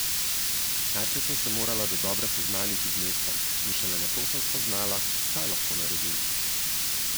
Najprej sem se morala dodobra seznaniti z mestom in šele nato sem spoznala, kaj lahko naredim.